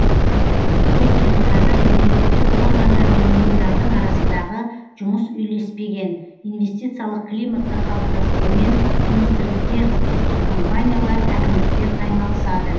өйткені қазір мемлекеттік органдар мен ұйымдардың арасындағы жұмыс үйлеспеген инвестициялық климатты қалыптастырумен министрліктер ұлттық компаниялар әкімдіктер айналысады